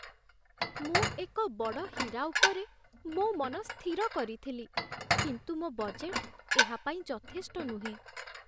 ମୁଁ ଏକ ବଡ଼ ହୀରା ଉପରେ ମୋ ମନ ସ୍ଥିର କରିଥିଲି, କିନ୍ତୁ ମୋ ବଜେଟ୍ ଏହା ପାଇଁ ଯଥେଷ୍ଟ ନୁହେଁ